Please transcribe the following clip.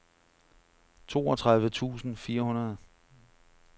toogtredive tusind fire hundrede